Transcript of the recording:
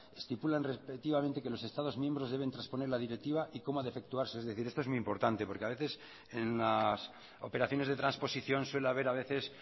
estipulan respectivamente que los estados miembros deben trasponer la directiva y cómo ha de efectuarse es decir esto es muy importante porque a veces en las operaciones de transposición suele haber a veces